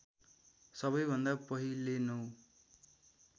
सबैभन्दा पहिले नौ